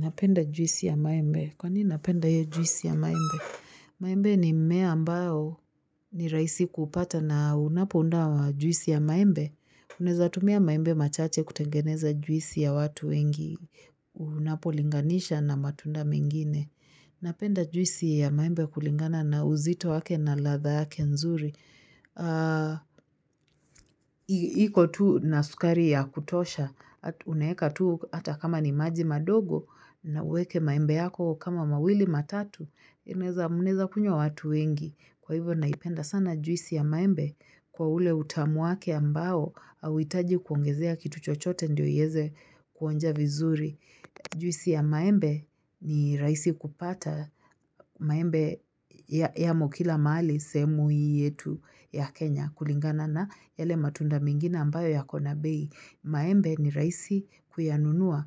Napenda juisi ya maembe. Kwa nini napenda hiyo juisi ya maembe? Maembe ni mmea ambao ni rahisi kuupata na unapounda juisi ya maembe, Unaeza tumia maembe machache kutengeneza juisi ya watu wengi. Unapolinganisha na matunda mengine. Napenda juisi ya maembe kulingana na uzito wake na ladha yake nzuri. Iko tu na sukari ya kutosha. Unaeka tu hata kama ni maji madogo na uweke maembe yako kama mawili, matatu. Unaeza mnaeza kunywa watu wengi. Kwa hivyo naipenda sana juisi ya maembe kwa ule utamu wake ambao hauhitaji kuongezea kitu chochote ndio ieze kuonja vizuri Juisi ya maembe ni rahisi kupata maembe yamo kila mahali sehemu hii yetu ya Kenya. Kulingana na yale matunda mengine ambayo yako na bei, maembe ni rahisi kuyanunua